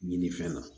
Ɲinifɛn na